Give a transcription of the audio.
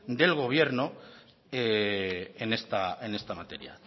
del gobierno en esta materia